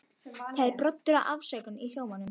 Það er broddur af ásökun í hljómnum.